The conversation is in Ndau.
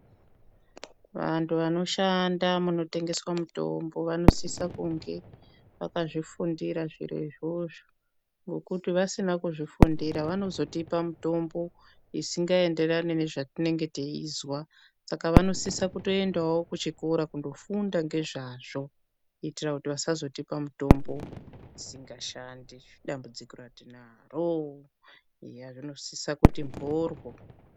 Vantu vanoshanda munotengeswa mutombo vanosise kunge vakazvifundira zviro izvozvo ngekuti vasina kuzvifundira vanozotipa mitombo isingaenderani nezvetinenge teizwa. Saka vanosise kutoendawo kuchikora kofunda ngezvazvo kuitira kuti vasazotipa mitomno isingashandi padambudziro ratinaro. Eya zvinosisa kuti mboryo.